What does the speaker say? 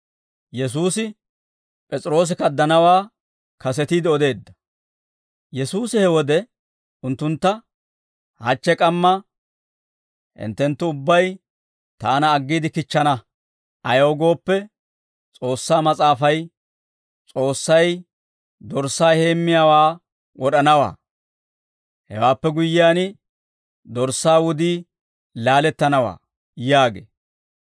Yesuusi he wode unttuntta, «Hachche k'amma hinttenttu ubbay taana aggiide kichchana; ayaw gooppe, S'oossaa Mas'aafay, « ‹S'oossay dorssaa heemmiyaawaa wod'anawaa; hewaappe guyyiyaan dorssaa wudii laalettanawaa› yaagee.